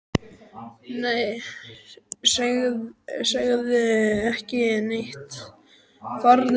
Nei, segðu ekki neitt, farðu bara.